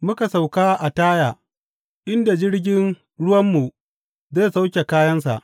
Muka sauka a Taya, inda jirgin ruwanmu zai sauke kayansa.